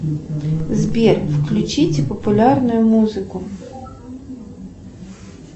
сбер включите популярную музыку